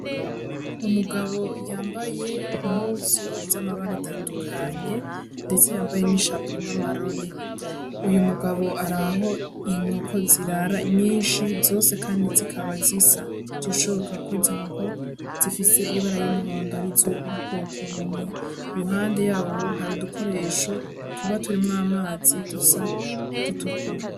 Umugabo yambaye impunzu zamabara atandukanye ndetse yambaye ishapo n'amarori, uyu mugabo araho inkoko zirara nyinshi zose kandi zikaba zisa zirashobora ko izo nkoko zifise ibara ryumuhondo arizo mu bwoko bumwe iruhande yaho hari udukoresho tuba turimwo amazi dusa dutukura.